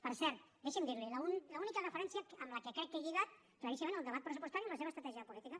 per cert deixi’m dir li l’única referència amb què crec que he lligat claríssimament el debat pressupostari amb la seva estratègia de política